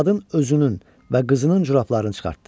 Qadın özünün və qızının corablarını çıxartdı.